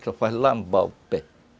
Só faz lambar o pé.